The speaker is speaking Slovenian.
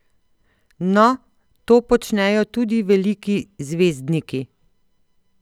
No, to počnejo tudi veliki zvezdniki!